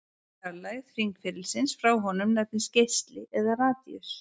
Fjarlægð hringferilsins frá honum nefnist geisli eða radíus.